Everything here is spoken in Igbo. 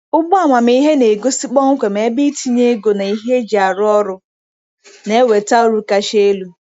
Ugbo amamihe na-egosi kpọmkwem ebe itinye ego na ihe eji arụ ọrụ na-eweta uru kacha elu.